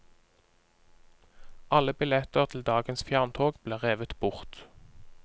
Alle billetter til dagens fjerntog ble revet bort.